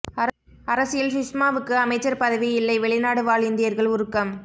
அரசியல் சுஷ்மாவுக்கு அமைச்சர் பதவி இல்லை வெளிநாடு வாழ் இந்தியர்கள் உருக்கம்